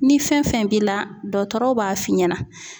Ni fɛn fɛn b'i la dɔkɔtɔrɔw b'a f'i ɲɛna.